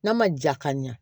N'a ma ja ka ɲɛ